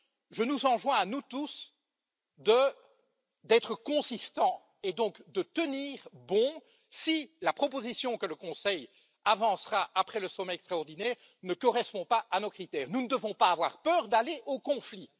Je nous enjoins, à nous tous, d'être cohérents, et donc de tenir bon si la proposition que le Conseil avancera après le sommet extraordinaire ne correspond pas à nos critères. Nous ne devons pas avoir peur d'aller au conflit.